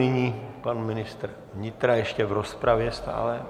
Nyní pan ministr vnitra, ještě v rozpravě stále.